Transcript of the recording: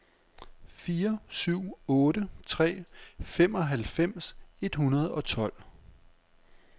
fire syv otte tre femoghalvfems et hundrede og tolv